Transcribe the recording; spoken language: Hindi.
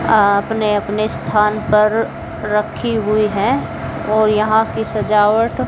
आप ने अपने स्थान पर रखी हुई हैं और यहां की सजावट--